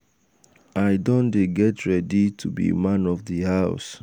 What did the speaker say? i don dey get ready to be man of di house.